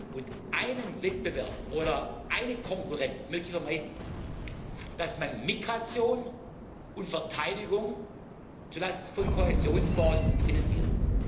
gehen. Und einen Wettbewerb oder eine Konkurrenz möchte ich vermeiden dass man Migration und Verteidigung zulasten von Kohäsionsfonds finanziert.